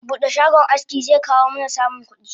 Bude shagon aski zekawo mana samun kudi